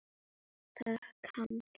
Takk, Hanna.